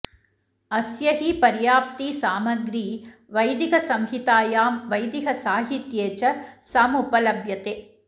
अस्य हि पर्याप्ती सामग्री वैदिकसंहितायां वैदिकसाहित्ये च समुपलभ्यते